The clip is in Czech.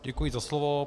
Děkuji za slovo.